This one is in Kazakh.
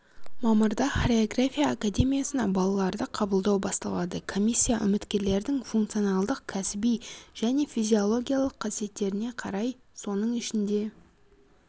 мамырда хореография академиясына балаларды қабылдау басталады комиссия үміткерлердің функционалдық кәсіби және физиологиялық қасиеттеріне қарай соның ішінде